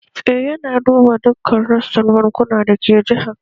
Eh yana duba dukkan rassan bankuna da ke jihar